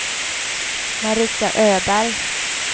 Marita Öberg